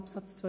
Absatz 2